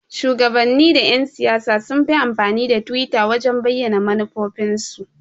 Shuwagabanni da Yan-siyasa sunfi amfani da twitter wajan bayyana manufofin su.